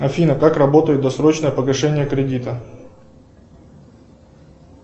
афина как работает досрочное погашение кредита